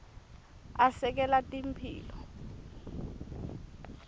asekela temphilo